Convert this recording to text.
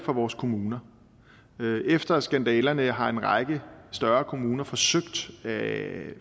vores kommuner efter skandalerne har en række større kommuner forsøgt at